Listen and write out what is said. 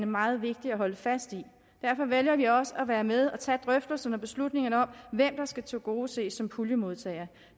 meget vigtige at holde fast i og derfor vælger vi også at være med og tage drøftelserne og beslutningerne om hvem der skal tilgodeses som puljemodtagere